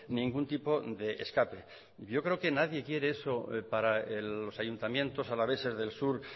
ningún tipo de escape yo creo que nadie quiere eso para los ayuntamientos alaveses del sur